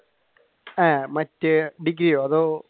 ഏർ മറ്റേ ഡിഗ്രിയോ അതോ